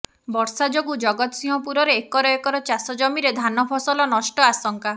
ବର୍ଷା ଯୋଗୁଁ ଜଗତସିଂହପୁରରେ ଏକର ଏକର ଚାଷ ଜମିରେ ଧାନ ଫସଲ ନଷ୍ଟ ଆଶଙ୍କା